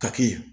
Ka kɛ